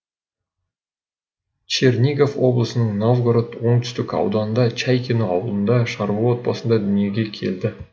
чернигов облысының новгород оңтүстік ауданында чайкино ауылында шаруа отбасында дүниеге келді